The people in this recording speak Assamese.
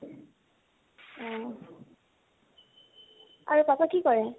উম । আৰু papa কি কৰে?